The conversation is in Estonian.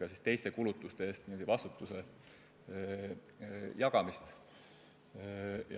ka teiste kulutuste eest vastutust jagades.